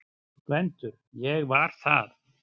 GVENDUR: Ég var það!